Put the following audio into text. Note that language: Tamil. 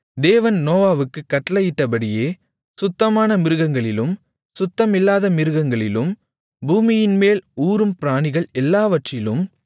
தேவன் நோவாவுக்குக் கட்டளையிட்டபடியே சுத்தமான மிருகங்களிலும் சுத்தமில்லாத மிருகங்களிலும் பூமியின்மேல் ஊரும் பிராணிகள் எல்லாவற்றிலும்